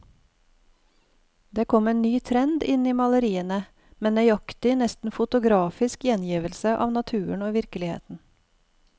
Det kom en ny trend inn i maleriene, med nøyaktig, nesten fotografisk gjengivelse av naturen og virkeligheten.